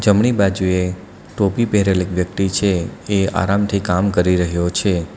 જમણી બાજુએ ટોપી પેરેલ એક વ્યક્તિ છે એ આરામથી કામ કરી રહ્યો છે.